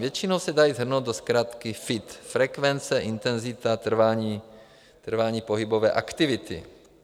Většinou se dají shrnout do zkratky FIT - frekvence, intenzita, trvání pohybové aktivity.